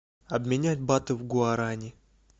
обменять баты в гуарани